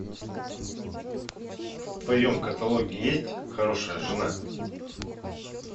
в твоем каталоге есть хорошая жена